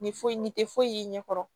Nin foyi nin tɛ foyi ɲɛ kɔrɔ